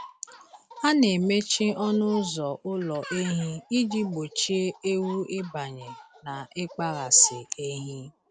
A na-emechi ọnụ ụzọ ụlọ ehi iji gbochie ewu ịbanye na ịkpaghasị ehi.